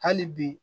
Hali bi